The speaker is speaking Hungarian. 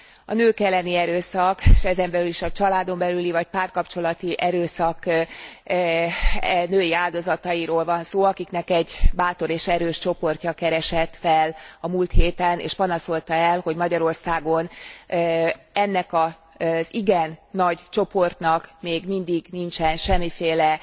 A nők elleni erőszak és ezen belül is a családon belüli vagy párkapcsolati erőszak női áldozatairól van szó, akiknek egy bátor és erős csoportja keresett fel a múlt héten, és panaszolta el, hogy Magyarországon ennek az igen nagy csoportnak még mindig nincsen semmiféle